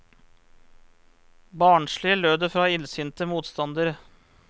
Barnslig, lød det fra illsinte motstandere.